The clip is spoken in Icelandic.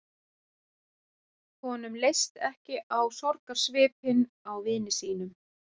Honum leist ekki á sorgarsvipinn á vini sínum.